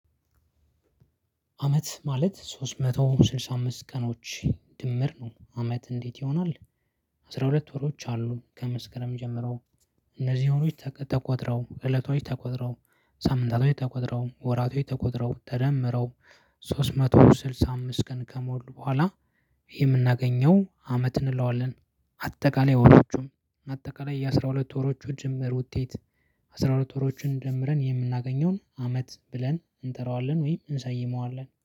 አመት ማለት ሶስት መቶ ስድሳ አምስት ቀኖች ድምር ነው አመት እንዴት ይሆናል? አስራ ሁለት ወሮች አሉ ከመስከረም ጀምረው እነዚህ ወሮች ተቆጥረው እለቶች ተቆጥረው ሳምንታቶች ተቆጥረው ወራቶች ተቆጥረው ተደምረው ሶስት መቶ ስልሳ አምስት ቀን ከሞሉ በኋላ የምናገኘው አመት እንለዋለን። አጠቃላይ ወሮቹን አጠቃላይ የአሥራ ሁለት ወሮቹ ድምር ውጤት። አስራ ሁለት ወሮቹን ደምረን የምናገኘውን አመት ብለን እንጠራዋለን ወይም እንሰይመዋለን